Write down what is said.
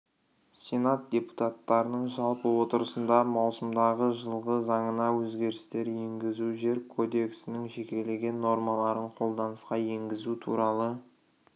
сенат депутаттарының жалпы отырысында маусымдағы жылғы заңына өзгерістер енгізу жер кодексінің жекелеген нормаларын қолданысқа енгізу туралы